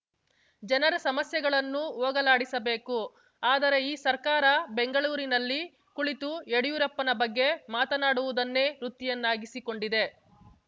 ಜನರ ಸಮಸ್ಯೆಗಳನ್ನು ಹೊಗಲಾಡಿಸಬೇಕು ಆದರೆ ಈ ಸರ್ಕಾರ ಬೆಂಗಳೂರಿನಲ್ಲಿ ಕುಳಿತು ಯಡಿಯೂರಪ್ಪನ ಬಗ್ಗೆ ಮಾತನಾಡುವುದನ್ನೇ ವೃತ್ತಿಯನ್ನಾಗಿಸಿಕೊಂಡಿದೆ